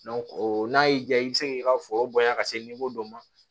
o n'a y'i diya i bɛ se k'i ka foro bonya ka se dɔ ma